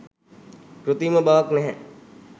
කෘත්‍රිම බවක් නැහැ.